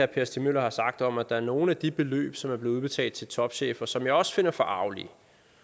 per stig møller har sagt om at der er nogle af de beløb som er blevet udbetalt til topchefer som jeg også finder forargelige